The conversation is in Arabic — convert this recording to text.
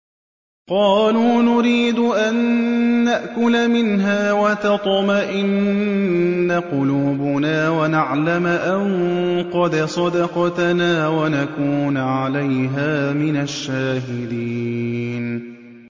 قَالُوا نُرِيدُ أَن نَّأْكُلَ مِنْهَا وَتَطْمَئِنَّ قُلُوبُنَا وَنَعْلَمَ أَن قَدْ صَدَقْتَنَا وَنَكُونَ عَلَيْهَا مِنَ الشَّاهِدِينَ